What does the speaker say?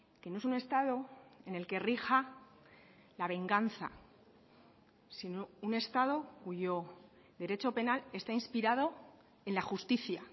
que no es un estado en el que rija la venganza sino un estado cuyo derecho penal está inspirado en la justicia